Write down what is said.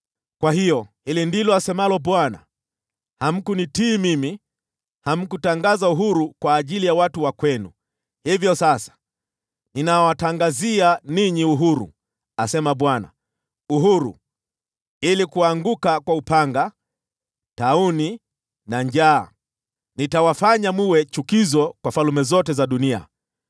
“Kwa hiyo, hili ndilo asemalo Bwana : Hamkunitii mimi. Hamkutangaza uhuru kwa ndugu zenu. Hivyo sasa, ninawatangazia ninyi ‘uhuru,’ asema Bwana : ‘uhuru’ ili kuanguka kwa upanga, tauni na njaa. Nitawafanya mwe chukizo kwa falme zote za dunia.